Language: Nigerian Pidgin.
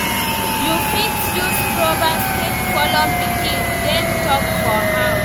You fit use proverbs take follow pikin dem talk for house